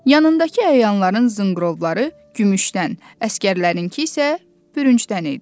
Yanındakı əyanların zınqrovları gümüşdən, əsgərlərinki isə bürüncdən idi.